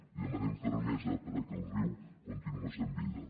li demanem fermesa perquè el riu continue sent vida